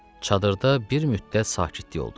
Çadırda bir müddət sakitlik oldu.